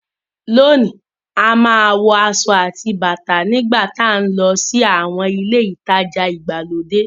Lónìí a máa ń wọ aṣọ àti bàtà nígbà tá nlọ sí àwọn ilé ìtajà ìgbàlódé